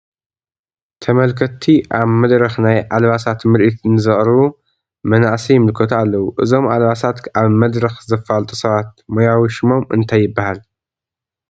ተመልከትቲ ኣብ መድረኽ ናይ ኣልባሳት ምርኢት ንዘቕርቡ መናእሰይ ይምልከቱ ኣለዉ፡፡ እዞም ኣልባሳት ኣብ መድረኽ ዘፋልጡ ሰባት ሞያዊ ሽሞም እንታይ ይበሃል?